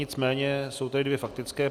Nicméně jsou tady dvě faktické.